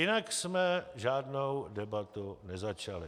Jinak jsme žádnou debatu nezačali.